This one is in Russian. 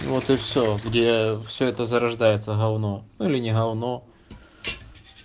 вот и все где все это зарождается говно ну или не говно